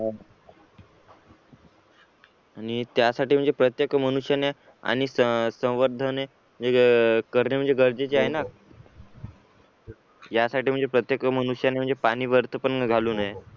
आणि त्यासाठी म्हणजे प्रत्येक मनुष्याने अनेक संवर्धन करणे गरजेचे म्हणजे आहे ना यासाठी म्हणजे प्रत्येक मनुष्याने म्हणजे पाणी व्यर्थ पण घालू नये